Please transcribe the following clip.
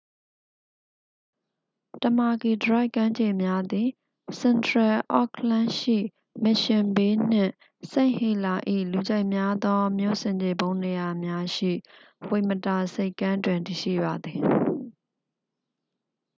တမာကီဒရိုက် ကမ်းခြေများသည် စင်ထရယ်အော့ခ်လန်းရှိ mission bay နှင့် st heliers ၏ လူကြိုက်များသော မြို့ဆင်ခြေဖုံးနေရာများရှိ ဝိတ်မတာ ဆိပ်ကမ်းတွင် တည်ရှိပါသည်